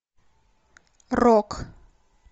рок